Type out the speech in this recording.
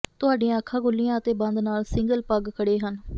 ਤੁਹਾਡੀਆਂ ਅੱਖਾਂ ਖੁੱਲ੍ਹੀਆਂ ਅਤੇ ਬੰਦ ਨਾਲ ਸਿੰਗਲ ਪਗ ਖੜ੍ਹੇ ਹਨ